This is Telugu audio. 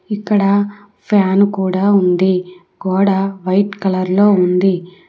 ఇక్కడ ఫ్యాన్ కూడా ఉంది గోడ వైట్ కలర్ లో ఉంది.